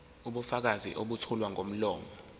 ubufakazi obethulwa ngomlomo